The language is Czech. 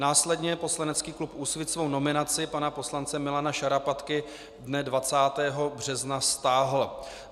Následně poslanecký klub Úsvit svou nominaci pana poslance Milana Šarapatky dne 20. března stáhl.